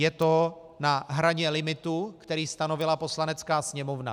Je to na hraně limitu, který stanovila Poslanecká sněmovna.